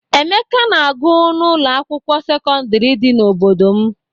Emeka na-agụ n'ụlọ akwụkwọ sekọndịrị dị n'obodo m.